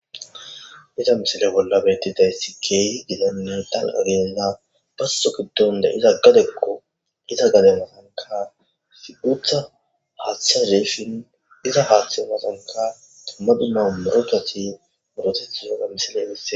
iza misile bolla bettiday sikeeyi didanne dal7agenda basso giddon de iza gadekko iza gale matanka figutha haaththea zeefin iza haaththe umasanka tummadi nau murochathi budoteti yoga misilebisse